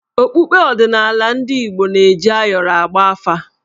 Okpukpe odịnala ndị Igbo na-eji ayọrọ agba afà.